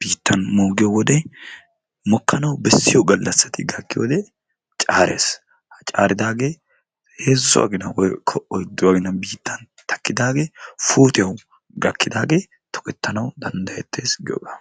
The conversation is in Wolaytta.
biittan moogiyoode mokkanawu bessiyoo gallasati gakkiyoode caaress ha caaridaagee heezzu agina woykko oyddu agina biittan takkidaagee puutiyawu gakkidaagee tokettanawu danddayettes giyoogaa.